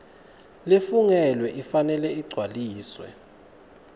lefungelwe ifanele igcwaliswe